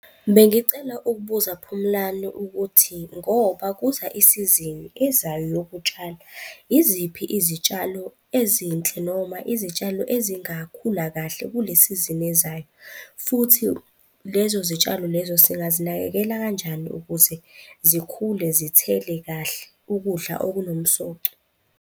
Bengicela ukubuza Phumlani ukuthi ngoba kuza isizini ezayo yokutshala, iziphi izitshalo ezinhle noma izitshalo ezingakhula kahle kule sizini ezayo futhi lezo zitshalo lezo singazinakekela kanjani ukuze zikhule, zithele kahle ukudla okunomsoco?